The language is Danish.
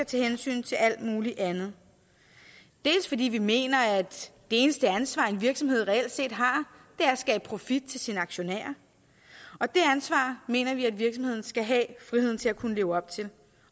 tage hensyn til alt muligt andet fordi vi mener at det eneste ansvar en virksomhed reelt har er at skabe profit til sine aktionærer og det ansvar mener vi at virksomheden skal have friheden til at kunne leve op til